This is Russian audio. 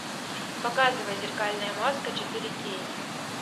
показывай зеркальная маска четыре кей